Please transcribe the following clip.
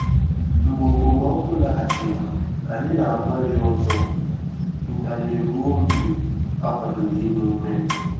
Mgbe okpomọkụ laghachiri, anyị na-agbalị ọzọ ntanye ruo mgbe akwadoro ime ime.